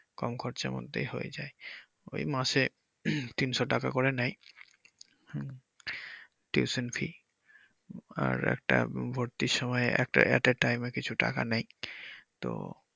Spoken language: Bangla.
কম খরচার মধ্যেই হয়ে যায় ওই মাসে তিনশ টাকা করে নেয় tuition fee আর একটা ভর্তির সময় একটা at a time এ কিছু টাকা নেয় তো।